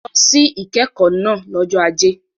Lọ sí ìkẹ́kọ̀ọ́ náà lọ́jọ́ Ajé.